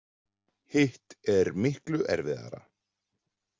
Hitt er miklu erfiðari.